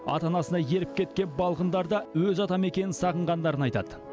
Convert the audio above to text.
ата анасына еріп кеткен балғындар да өз атамекенін сағынғандарын айтады